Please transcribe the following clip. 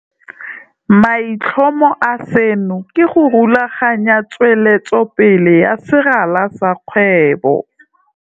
Maitlhomo a seno ke go rulaganya tsweletsopele ya serala sa kgwebo.